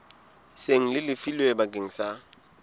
seng le lefilwe bakeng sa